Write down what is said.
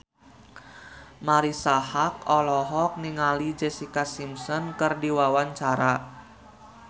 Marisa Haque olohok ningali Jessica Simpson keur diwawancara